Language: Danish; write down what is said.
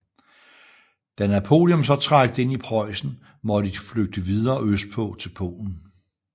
Da Napoleon så trængte ind i Preussen måtte de flygte videre østpå til Polen